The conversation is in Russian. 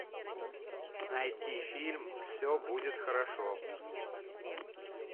найти фильм все будет хорошо